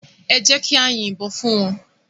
Èjèká yin bòn fún wán